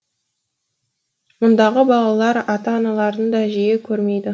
мұндағы балалар ата аналарын да жиі көрмейді